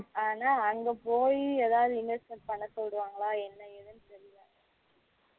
ஆனா அங்க போய் ஏதாவது investment பன்ன சொல்லுறங்களா என்ன எதுணு தெரியல